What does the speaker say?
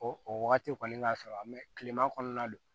O o wagati kɔni ka sɔrɔ kilema kɔnɔna don